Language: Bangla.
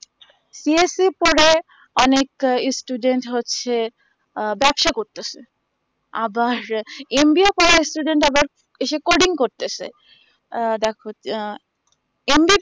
অনেক students হচ্ছে আহ ব্যবসা করতেসে আবার mba করা আবার recording করতেসে আহ দ্যাখো আ mbb